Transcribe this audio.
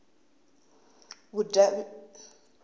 vhudavhidzani